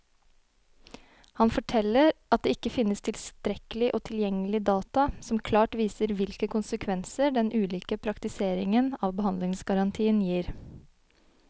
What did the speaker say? Han forteller at det ikke finnes tilstrekkelig og tilgjengelig data som klart viser hvilke konsekvenser den ulike praktiseringen av behandlingsgarantien gir.